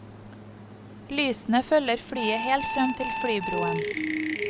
Lysene følger flyet helt frem til flybroen.